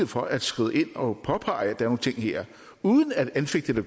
for at skride ind og påpege at der er nogle ting her uden at anfægte